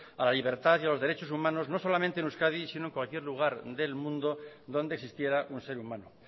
a la libertad y a los derechos humanos no solamente en euskadi sino en cualquier lugar del mundo donde existiera un ser humano